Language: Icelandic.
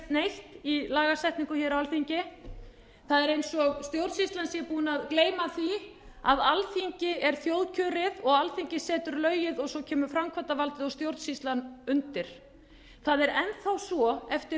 neitt í lagasetningu á alþingi það er eins og stjórnsýslan sé búin að gleyma því að alþingi er þjóðkjörið og alþingi setur lögin og svo kemur framkvæmdarvaldið og stjórnsýslan undir það er enn þá svo eftir